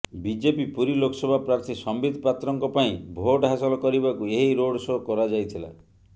BJP Puri Lok Sabha ପ୍ରାର୍ଥୀ ସମ୍ବିତ ପାତ୍ରଙ୍କ ପାଇଁ ଭୋଟ ହାସଲ କରିବାକୁ ଏହି ରୋଡ ଶୋ କରାଯାଇଥିଲା